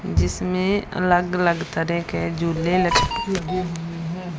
जिसमें अलग-अलग तरह के झूले लगे हुए हैं।